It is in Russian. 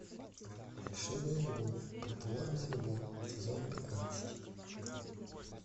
фальшивая любовь притворная любовь сезон пятнадцать